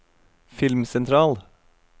filmsentral